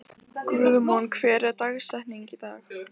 Guðmon, hver er dagsetningin í dag?